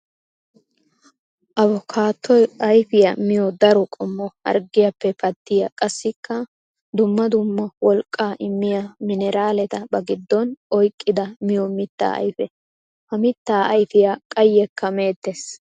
Avokaatoy ayfiya miyo daro qommo harggiyappe pattiya qassikka dumma dumma wolqqa immiya mineraaletta ba gidon oyqqidda miyo mitta ayfe. Ha mitta ayfiya qayekka meetes.